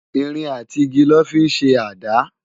Irin àtí igi lò fi n ṣé àdá